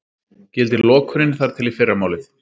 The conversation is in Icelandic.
Gildir lokunin þar til í fyrramálið